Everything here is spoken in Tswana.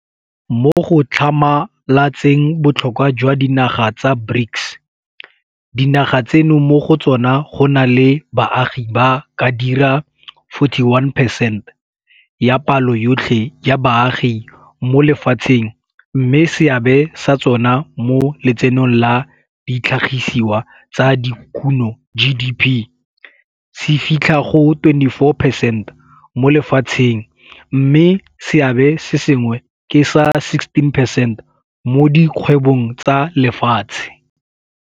Mo go tlhamalatseng botlhokwa jwa dinaga tsa BRICS, dinaga tseno mo go tsona go na le baagi ba ka dira 41 percent ya palo yotlhe ya baagi mo lefatsheng mme seabe sa tsona mo Letsenong la Ditlhagisiwa tsa Dikuno, GDP, se fitlha go 24 percent mo lefatsheng mme seabe se sengwe ke sa 16 percent mo di kgwebong tsa lefatshe.